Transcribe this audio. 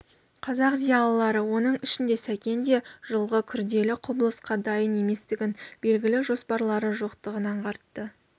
қазақ зиялылары оның ішінде сәкен де жылғы күрделі құбылысқа дайын еместігін белгілі жоспарлары жоқтығын аңғартты